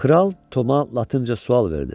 Kral Toma latınca sual verdi.